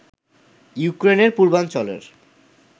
ইউক্রেনের পূর্বাঞ্চলের